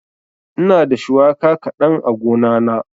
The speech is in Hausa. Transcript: Ina da shuwaka kaɗan a gona na.